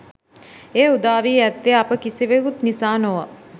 එය උදා වී ඇත්තේ අප කිසිවෙකුත් නිසා නොව